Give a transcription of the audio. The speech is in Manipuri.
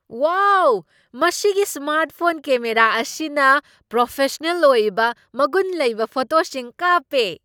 ꯋꯥꯎ! ꯃꯁꯤꯒꯤ ꯁ꯭ꯃꯥꯔꯠ ꯐꯣꯟ ꯀꯦꯃꯦꯔꯥ ꯑꯁꯤꯅ ꯄ꯭ꯔꯣꯐꯦꯁꯅꯦꯜ ꯑꯣꯏꯕ ꯃꯒꯨꯟ ꯂꯩꯕ ꯐꯣꯇꯣꯁꯤꯡ ꯀꯥꯞꯄꯦ ꯫